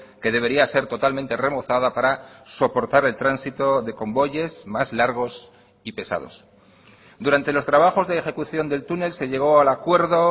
que debería ser totalmente remozada para soportar el tránsito de convoyes más largos y pesados durante los trabajos de ejecución del túnel se llegó al acuerdo